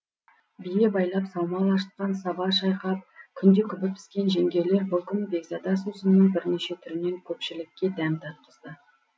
бие байлап саумал ашытқан саба шайқап күнде күбі піскен жеңгейлер бұл күні бекзада сусынның бірнеше түрінен көпшілікке дәм татқызды